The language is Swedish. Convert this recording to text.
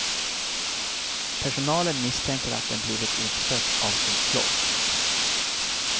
Personalen misstänker att den blivit utstött av sin flock.